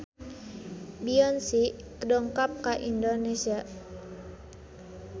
Beyonce dongkap ka Indonesia